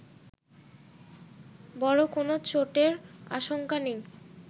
বড় কোনো চোটের আশঙ্কা নেই